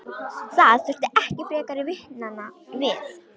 Það þurfti ekki frekari vitnanna við.